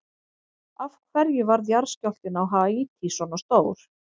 Af hverju varð jarðskjálftinn á Haítí svona stór?